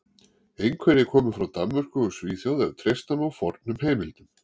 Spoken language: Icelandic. Einhverjir komu frá Danmörku og Svíþjóð ef treysta má fornum heimildum.